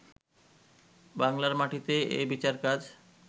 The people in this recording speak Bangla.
বাংলার মাটিতেই এ বিচারকাজ